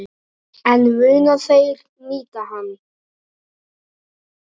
En munu þeir nýta hann?